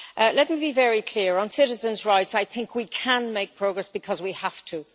Let me be very clear on citizens' rights, we can make progress because we have to.